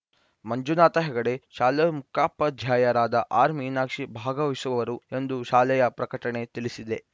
ಮಂಜುನಾಥ ಹೆಗಡೆ ಶಾಲೆ ಮುಖ್ಯೋಪಾಧ್ಯಾಯರಾದ ಆರ್‌ ಮೀನಾಕ್ಷಿ ಭಾಗವಹಿಸುವರು ಎಂದು ಶಾಲೆಯ ಪ್ರಕಟಣೆ ತಿಳಿಸಿದೆ